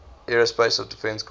aerospace defense command